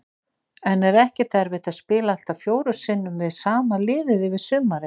En er ekkert erfitt að spila allt að fjórum sinnum við sama liðið yfir sumarið?